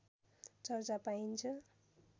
चर्चा पाइन्छ